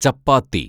ചപ്പാത്തി